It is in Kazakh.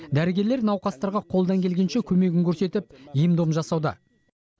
дәрігерлер науқастарға қолдан келгенше көмегін көрсетіп ем дом жасауда